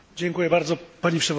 Pani Przewodnicząca!